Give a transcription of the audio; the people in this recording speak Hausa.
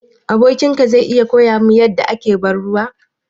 Abokin ka zai iya koya min yadda ake ban ruwa?